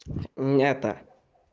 мята